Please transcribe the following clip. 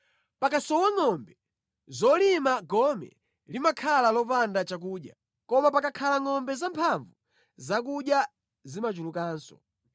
Pakasowa ngʼombe zolima gome limakhala lopanda chakudya, koma pakakhala ngʼombe zamphamvu zakudya zimachulukanso.